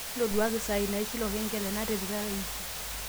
ntoduakaki saai naishir olkengele natipika e wiki